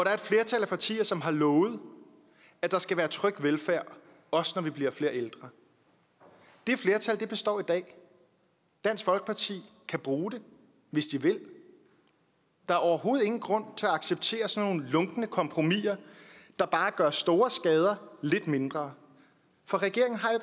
er et flertal af partier som har lovet at der skal være tryg velfærd også når vi bliver flere ældre det flertal består i dag dansk folkeparti kan bruge det hvis de vil der er overhovedet ingen grund til at acceptere sådan nogle lunkne kompromiser der bare gør store skader lidt mindre for regeringen har jo